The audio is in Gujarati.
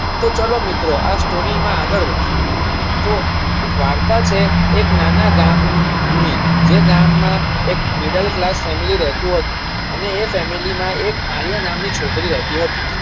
તો ચાલો મિત્રો આ story માં આગળ વધીયે તો વાર્તા છે એક નાના ગામ ની જે ગામ માં એક Middle class family રહેતું હતું. અને એ family માં એક આલ્યા નામની છોકરી રહેતી હતી.